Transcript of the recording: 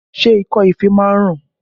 Ṣé ikọ́ ife máa ń ràn?